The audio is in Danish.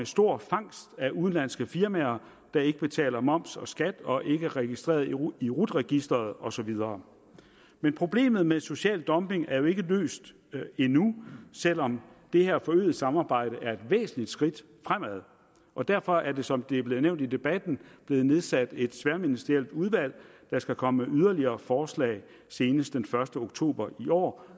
stor fangst af udenlandske firmaer der ikke betaler moms og skat og ikke er registreret i rut i rut registeret og så videre men problemet med social dumping er jo ikke løst endnu selv om det her forøgede samarbejde er et væsentligt skridt fremad og derfor er der som det er blevet nævnt i debatten blevet nedsat et tværministerielt udvalg der skal komme med yderligere forslag senest den første oktober i år